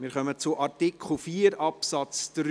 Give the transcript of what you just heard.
Wir kommen zu Artikel 4 Absatz 3.